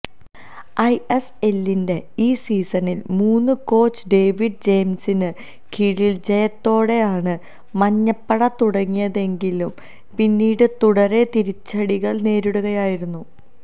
ഐഎസ്എല്ലിന്റെ ഈ സീസണില് മുന് കോച്ച് ഡേവിഡ് ജെയിംസിന് കീഴില് ജയത്തോടെയാണ് മഞ്ഞപ്പട തുടങ്ങിയതെങ്കിലും പിന്നീട് തുടരെ തിരിച്ചടികള് നേരിടുകയായിരുന്നു